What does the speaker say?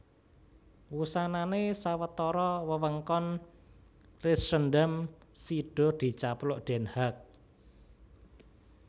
Wusanané sawetara wewengkon Leidschendam sida dicaplok Den Haag